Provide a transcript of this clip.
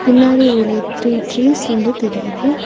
பின்னாடி ஒரு three trees வந்து தெரியுது.